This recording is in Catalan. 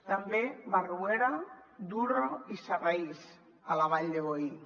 també barruera durro i saraís a la vall de boí